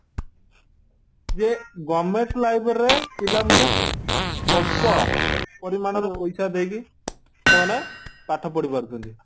ଯେ government library ରେ ପିଲାମାନେ ସ୍ୱଳ୍ପ ପରିମାଣ ରେ ପଇସା ଦେଇକି ସେମାନେ ପାଠ ପଢି ପାରୁଛନ୍ତି